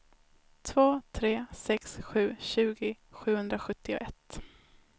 två tre sex sju tjugo sjuhundrasjuttioett